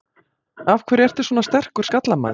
Af hverju ertu svona sterkur skallamaður?